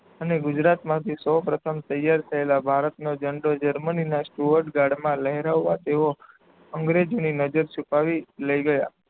અને ગુજરાત માંથી સૌપ્રથમ તૈયાર થાયેલા ભારત નો ઝંડો જર્મનીના સુઅડગાર્ડમાં લહેરાવવા તેઓ અંગ્રેજોની નજર છુપાવી લાય ગયા.